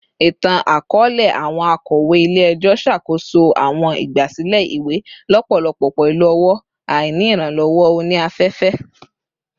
Itan-akọọlẹ, awọn akọwe ile-ẹjọ ṣakoso awọn igbasilẹ iwe lọpọlọpọ pẹlu ọwọ, aini iranlọwọ oni-afefe